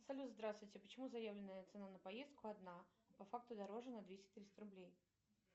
салют здравствуйте почему заявленная цена на поездку одна а по факту дороже на двести триста рублей